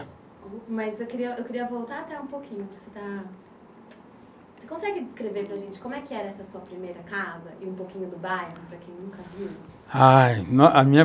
Mas eu queria, queria voltar até um pouquinho.